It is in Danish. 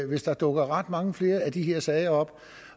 hvis der dukker ret mange flere af de her sager op